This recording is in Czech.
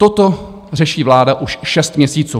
Toto řeší vláda už šest měsíců.